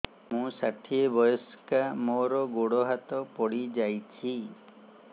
ମୁଁ ଷାଠିଏ ବୟସ୍କା ମୋର ଗୋଡ ହାତ ପଡିଯାଇଛି